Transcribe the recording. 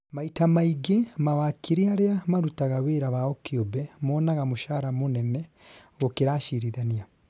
maita maingĩ mawakiri aria marutaga wĩra wao kiumbe monaga mũcara mũnene gũkira acirithania